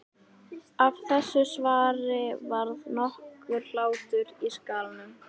Af þessu svari varð nokkur hlátur í skálanum.